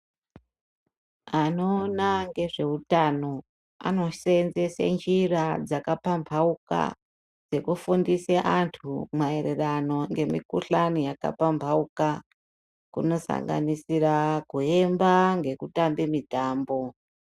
Anoona ngezveutano anosenzese njira dzakapamhauka dzekufundise antu maererano ngemukuhlani yakapamhauka kunosanganisira kuemba ngekutamba mutambo.